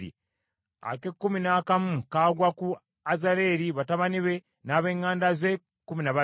ak’ekkumi n’akamu kagwa ku Azaleri, batabani be n’ab’eŋŋanda ze, kkumi na babiri;